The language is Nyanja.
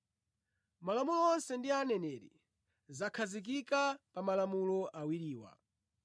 Malamulo onse ndi aneneri zakhazikika pa malamulo awiriwa.”